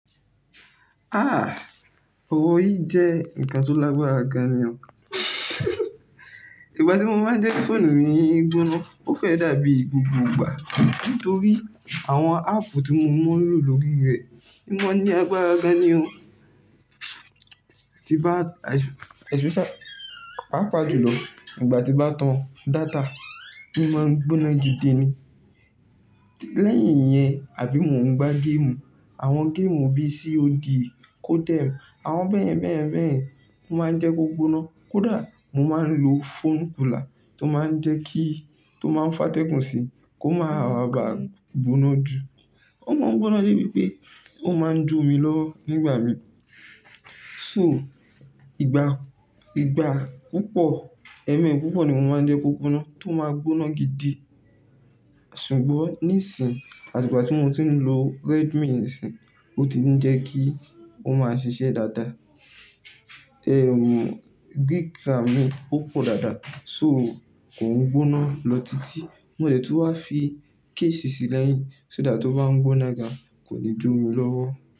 Ah! Orí jẹ́ nǹkan tó lágbára gan an ni o. Ìgbà tí mo máa ń jẹ kí fóònù mi gbóná, ó fẹ́ dàbí gbogbo ìgbà nítorí àwọn áàpù tí mo mọ̀ n lọ̀ lọ̀ rí rẹ, o máa ní agbára gan an ni o. Ti bàá papàjùlọ ìgbà tí bá tan data, í máa ń gbóná gidi ni. Lẹ́yìn yẹn àbí mò ń gbá géèmù, àwọn géèmù bíi COD, CODEM àwọn bẹ́yen bẹ́yẹn bẹ́yẹ̀n, ọ́ máa ń jẹ́ kó gbóná. Kódà mo máa ń lò phone cooler tó máa ń jẹ́ kíi tó máa ń fátẹ̀gún sí kó máa ba gbóná jù. Ó máa ń gbóná débi pé ó máa ń jómi lọ nígbà mi. So ìgbà, ìgbà púpọ̀, ẹmẹ púpọ̀ ni mo máa ń jẹ́ kó gbóná, tó máa gbóná gidi. Ṣùgbọ́n níìsín, àti ìgbà tí mò ń ti lọ ló Redmi isìn, ó ti ń jẹ́ kí ó máa ṣiṣẹ́ dáadáa. Ehn gíg ram mí ó pọ̀ dáadáa so kò ń gbóná lọ títí. Mo jẹ̀ tu wá fi kéèsì sí lẹ̀yín ṣó dàá tó bá ń gbóná gan kò lè jó mi lọ́wọ́.